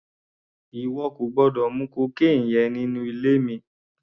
Ìwọ kò gbọ́dọ̀ mu cocaine yẹn nínú ilé mi!